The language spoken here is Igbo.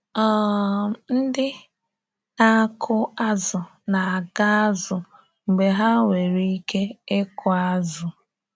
um Ndị na-akụ azụ na-aga azụ mgbe ha nwere ike ịkụ azụ.